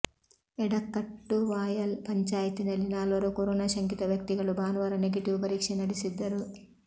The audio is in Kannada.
ಎಡಕ್ಕಟ್ಟುವಾಯಲ್ ಪಂಚಾಯತಿನಲ್ಲಿ ನಾಲ್ವರು ಕೊರೊನಾ ಶಂಕಿತ ವ್ಯಕ್ತಿಗಳು ಭಾನುವಾರ ನೆಗೆಟಿವ್ ಪರೀಕ್ಷೆ ನಡೆಸಿದ್ದರು